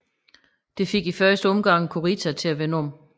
Det fik i første omgang Kurita til at vende om